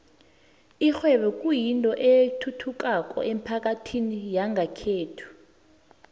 ikghwebo kuyinto ethuthukako emphakathini yangekhethu